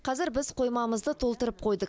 қазір біз қоймамызды толтырып қойдық